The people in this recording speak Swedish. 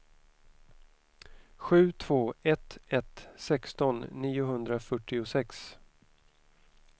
sju två ett ett sexton niohundrafyrtiosex